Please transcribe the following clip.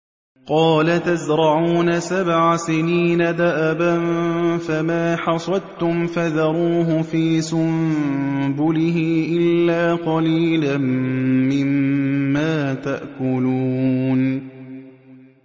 قَالَ تَزْرَعُونَ سَبْعَ سِنِينَ دَأَبًا فَمَا حَصَدتُّمْ فَذَرُوهُ فِي سُنبُلِهِ إِلَّا قَلِيلًا مِّمَّا تَأْكُلُونَ